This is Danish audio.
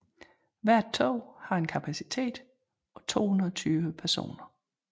Hvert tog har en kapacitet på 220 personer